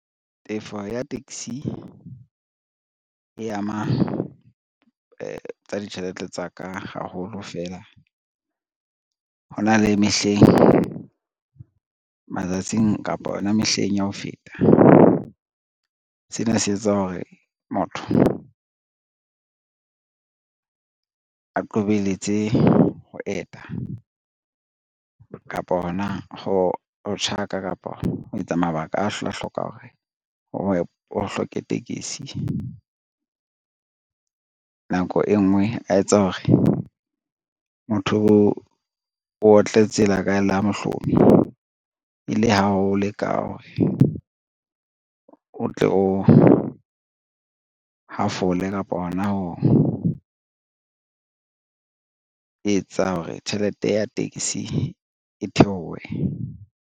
Tefo ya taxi e ama tsa ditjhelete tsa ka haholo fela, hona le mehleng matsatsing kapa yona mehleng ya ho feta. Sena se etsa hore motho a qobelletse ho eta, kapa hona ho tjhaka, kapa ho etsa mabaka a tla hloka hore o hloke tekesi. Nako e ngwe a etsa hore motho o otle tsela ka la mohlomi e le ha o le ka hore o tle o hafole kapa hona ho etsa hore tjhelete ya tekesi e theohe.